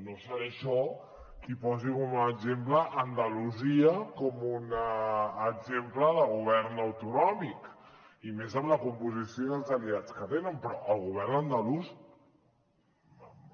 no seré jo qui posi com a exemple andalusia com un exemple de govern autonòmic i més amb la composició i els aliats que tenen però el govern andalús